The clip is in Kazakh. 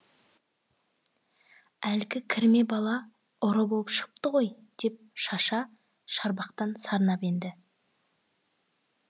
әлгі кірме бала ұры боп шығыпты ғой деп шаша шарбақтан сарнап енді